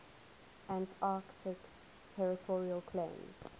antarctic territorial claims